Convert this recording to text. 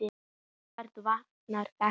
En hvernig virkar þetta?